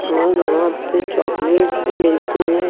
और यहां पे चॉकलेट्स भी मिलते हैं।